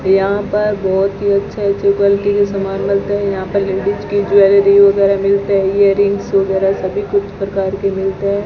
यहां पर बहोत ही अच्छा अच्छा क्वालिटी के सामान मिलते है यहां पर लेडिस की ज्वेलरी वगैरा मिलते है इयररिंग्स वगैरा सभी कुछ प्रकार के मिलते है।